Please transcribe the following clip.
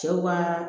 Cɛw ka